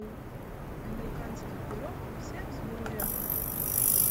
американский пирог все в сборе